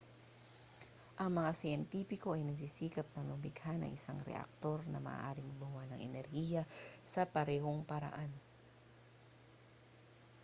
ang mga siyentipiko ay nagsisikap na lumikha ng isang reaktor na maaaring gumawa ng enerhiya sa parehong paraan